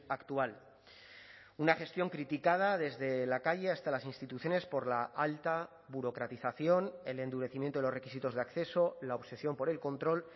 actual una gestión criticada desde la calle hasta las instituciones por la alta burocratización el endurecimiento de los requisitos de acceso la obsesión por el control